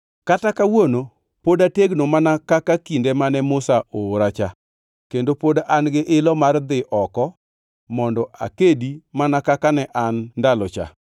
Kata kawuono pod ategno mana ka kinde mane Musa ooracha, kendo pod an-gi ilo mar dhi oko mondo akedi mana kaka ne an ndalo cha.